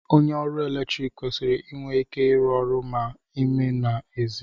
onye oru eletrik kwesịrị inwe ike ịrụ ọrụ ma n'ime ma n'èzí